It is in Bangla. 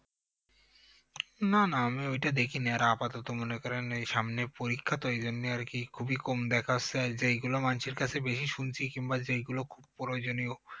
না না আমি ওই টা দেখিনি আর আপাতত মনে করেন এই সামনে পরীক্ষা তো ওই জন্যই আর কি খুবই কম দেখা হচ্ছে আর যেইগুলো মানুষের কাছে বেশি শুনছি কিংবা যেইগুলো খুব প্রয়োজনীয়